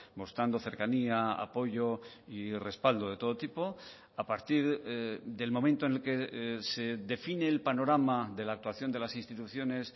mostrando cercanía apoyo y respaldo de todo tipo a partir del momento en el que se define el panorama de la actuación de las instituciones